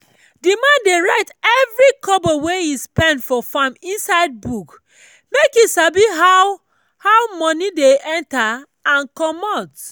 the man dey write every kobo wey e spend for farm inside book make e sabi how how money dey enter and commot.